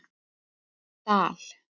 Dal